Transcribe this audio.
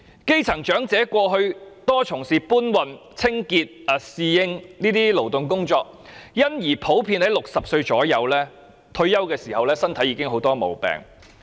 基層長者過去大多從事搬運、清潔或侍應等勞動工作，因而普遍約在60歲退休時身體已經有很多毛病。